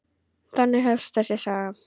Þannig hefst þessi saga.